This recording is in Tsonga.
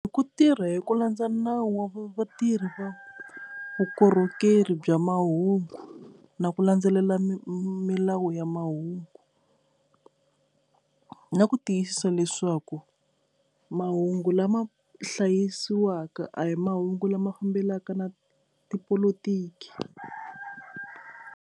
Ku tirha hi ku landza nawu wa vatirhi va vukorhokeri bya mahungu na ku landzelela milawu ya mahungu na ku tiyisisa leswaku mahungu lama hlayisiwaka a hi mahungu lama fambelaka na tipolotiki.